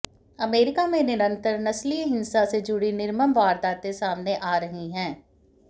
America में निरंतर नस्लीय हिंसा से जुड़ी निर्मम वारदातें सामने आ रही हैं